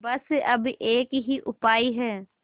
बस अब एक ही उपाय है